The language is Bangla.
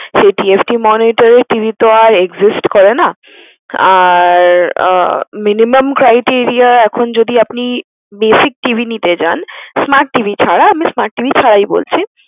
সেই TFT monitor এর TV তো আর exist করে না আর আহ minimum criteria এখন যদি আপনি basic TV নিতে যান smart TV ছাড়া আমি smart TV ছাড়াই বলছি